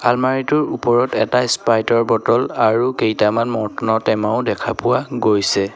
আলমাৰিটোৰ ওপৰত এটা স্প্ৰাইটৰ বটল আৰু কেইটামান মৰ্টনৰ টেমাও দেখা পোৱা গৈছে।